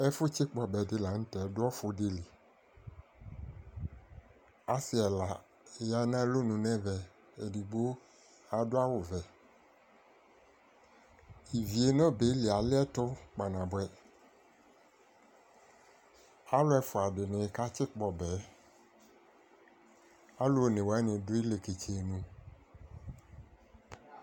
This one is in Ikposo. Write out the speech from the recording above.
Ɛfu tsikpɔ ɔbɛdi la nu tɛ du ɔfudili asi ɛla di ya nu alɔnu nɛvɛ edigbo adu awu vɛ ivie nu ɔbɛli aliɛtu kpanabuɛ aluɛfuadini katsikpɔ ɔbɛ alu onewani du iliketsenu